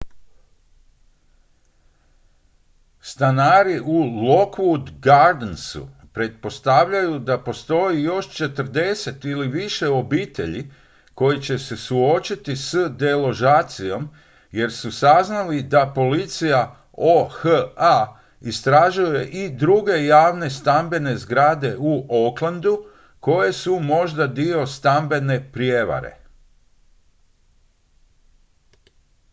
stanari u lockwood gardensu pretpostavljaju da postoji još 40 ili više obitelji koji će se suočiti s deložacijom jer su saznali da policija oha istražuje i druge javne stambene zgrade u oaklandu koje su možda dio stambene prijevare